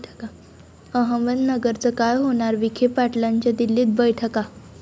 अहमदनगरचं काय होणार? विखे पाटलांच्या दिल्लीत बैठका